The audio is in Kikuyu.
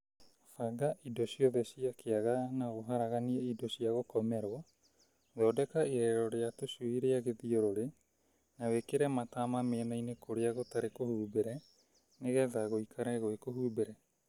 Banga indo ciothe ciĩ kĩaga na ũharaganie indo cia gũkomerwo , thondeka irerero rĩa tũcui rĩa gĩthiũrũrĩ na wĩkĩre matama mĩena-inĩ kũrĩa gũtekũhumbĩre nĩgetha gũikare gwĩ kũhumbĩre.